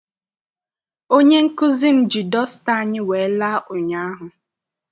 Onye nkụzi m ji dọsta anyị wee la ụnyaahụ.